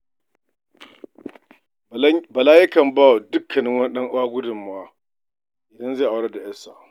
Bala yakan ba wa duk wani ɗan uwa gudunmawa idan zai aurar da 'yarsa.